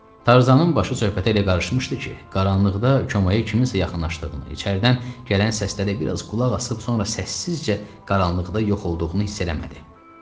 Tarzanın başı söhbətə elə qarışmışdı ki, qaranlıqda komaya kiminsə yaxınlaşdığını, içəridən gələn səsdə də biraz qulaq asıb sonra səssizcə qaranlıqda yox olduğunu hiss eləmədi.